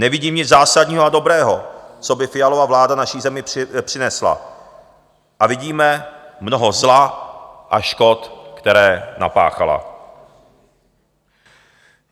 Nevidím nic zásadního a dobrého, co by Fialova vláda naší zemi přinesla, a vidíme mnoho zla a škod, které napáchala.